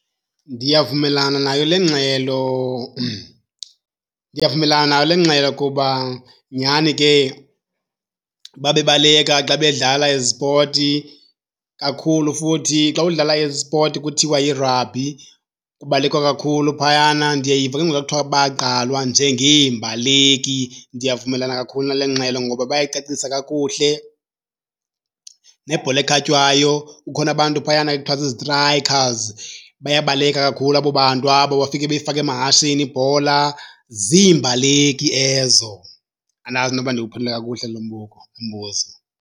Ndiyavumelana nayo le ngxelo. Ndiyavumelana nayo le ngxelo kuba nyhani ke babebaleka xa bedlala ezi zipoti kakhulu. Futhi xa udlala ezi zipoti kuthiwa yirabhi, kubalekwa kakhulu phayana. Ndiyayiva ke ngoku xa kuthiwa bagqalwa njengeembaleki, ndiyavumelana kakhulu nale ngxelo ngoba bayayicacisa kakuhle. Nebhola ekhatywayo kukhona abantu phayana ekuthiwa zii-strikers, bayabaleka kakhulu abo bantu abo bafike beyifaka amahashini ibhola, ziimbaleki ezo. Andazi noba ndiwuphendule kakuhle lo lo mbuzo.